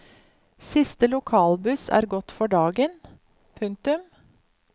Siste lokalbuss er gått for den dagen. punktum